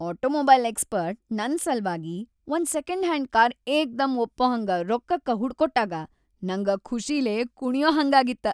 Automobile expert ನನ್‌ ಸಲ್ವಾಗಿ ಒಂದ್‌ ಸೆಕೆಂಡ್‌ಹ್ಯಾಂಡ್‌ ಕಾರ್‌ ಏಕ್ದಂ ಒಪ್ಪಹಂಗ ರೊಕ್ಕಕ್ಕ ಹುಡಕೊಟ್ಟಾಗ ನಂಗ ಖುಷಿಲೇ ಕುಣಿಯಹಂಗಾಗಿತ್ತ.